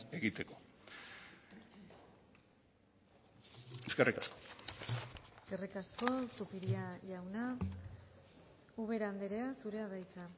egiteko eskerrik asko eskerrik asko zupiria jauna ubera andrea zurea da hitza